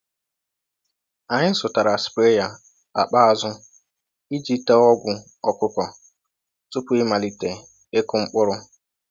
Anyị zụtara spraya akpa azụ iji tee ọgwụ ọkụkọ tupu ịmalite ịkụ mkpụrụ.